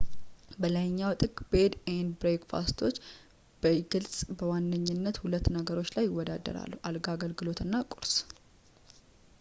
በላይኛው ጥግ፣ ቤድ&ብሬክፋስቶች በግልጽ በዋነኝነት ሁለት ነገሮች ላይ ይወዳደራሉ፡ አልጋ አገልግሎት እና ቁርስ